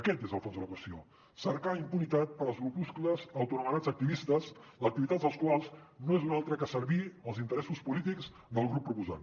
aquest és el fons de la qüestió cercar impunitat per als grupuscles autoanomenats activistes l’activitat dels quals no és una altra que servir als interessos polítics del grup proposant